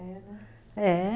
É, né? É